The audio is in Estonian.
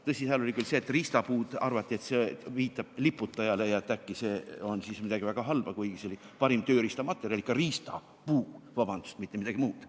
Tõsi, seal oli ka see, et Riistapuu arvati viitavat liputajale ja et äkki see on midagi väga halba, kuigi see oli parim tööriistamaterjal, ikka riista puu, vabandust, mitte midagi muud.